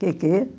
Que quê?